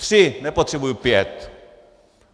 Tři, nepotřebuji pět!